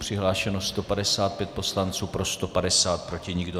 Přihlášeno 155 poslanců, pro 150, proti nikdo.